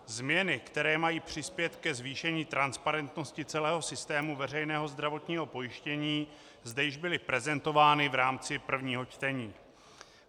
Změny, které mají přispět ke zvýšení transparentnosti celého systému veřejného zdravotního pojištění, zde již byly prezentovány v rámci prvního čtení.